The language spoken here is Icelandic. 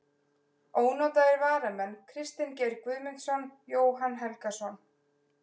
Ónotaðir varamenn: Kristinn Geir Guðmundsson, Jóhann Helgason.